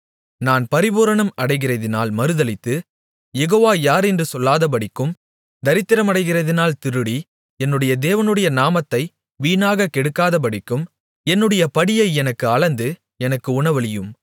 நான் பரிபூரணம் அடைகிறதினால் மறுதலித்து யெகோவா யார் என்று சொல்லாதபடிக்கும் தரித்திரமடைகிறதினால் திருடி என்னுடைய தேவனுடைய நாமத்தை வீணாக கெடுக்காதபடிக்கும் என்னுடைய படியை எனக்கு அளந்து எனக்கு உணவளியும்